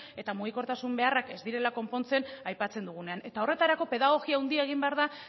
eta mugikortasun beharrak ez direla konpontzen aipatzen dugunean eta horretarako pedagogia handia egin behar da